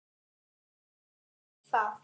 Ég hef gert það.